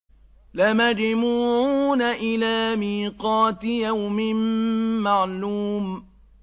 لَمَجْمُوعُونَ إِلَىٰ مِيقَاتِ يَوْمٍ مَّعْلُومٍ